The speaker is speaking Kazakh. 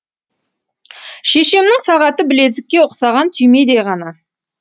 шешемнің сағаты білезікке ұқсаған түймедей ғана